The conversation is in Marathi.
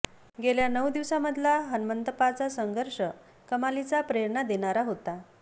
गेल्या नऊ दिवसांमधला हणमंतप्पांचा संघर्ष कमालीचा प्रेरणा देणारा होता